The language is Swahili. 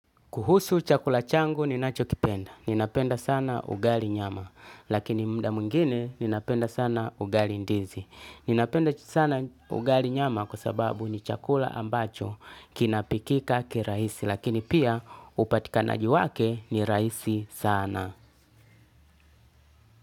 Kuhusu chakula changu ninacho kipenda. Ninapenda sana ugali nyama. Lakini mda meingine ninapenda sana ugali ndizi. Ninapenda sana ugali nyama kwasababu ni chakula ambacho kinapikika kiraisi. Lakini pia upatikanaji wake ni raisi sana.